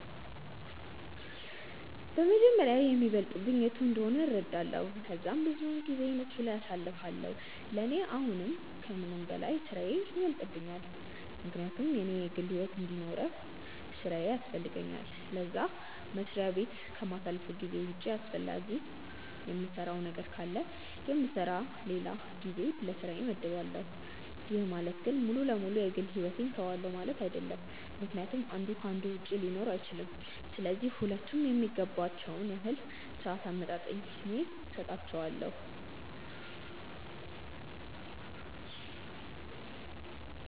በመጀመሪያ የሚበልጥብኝ የቱ እንደሆነ እረዳለው ከዛም ብዙውን ጊዜየን እሱ ላይ አሳልፋለው፤ ለኔ አሁን ከምንም በላይ ስራዬ ይበልጥብኛል ምክንያቱም እኔ የግል ሕይወት እንዲኖርውኝ ስራዬ ያስፈልገኛል ለዛ፤ መስሪያ በት ከማሳልፈው ጊዜ ውጪ አስፈላጊ የምሰራው ነገር ካለ የምሰራበት ለላ ጊዜ ለስራዬ መድባለው፤ ይህ ማለት ግን ሙሉ ለ ሙሉ የ ግል ሕይወቴን ትውዋለው ማለት አይድለም ምክንያቱም አንዱ ከ አንዱ ውጪ ሊኖር አይችልም፤ ስለዚህ ሁለቱም የሚገባቸውን ያህል ሰአት አመጣጥኜ ሰጣቸዋለው።